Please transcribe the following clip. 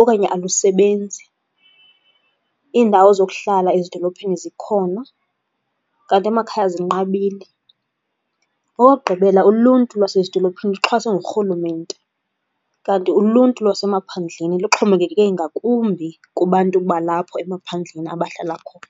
okanye alusebenzi. Iindawo zokuhlala ezidolophini zikhona kanti amakhaya zinqabile. Okokugqibela, uluntu lwasezidolophini luxhaswe ngurhulumente, kanti uluntu lwasemaphandleni luxhomekeke ngakumbi kubantu balapho emaphandleni abahlala khona.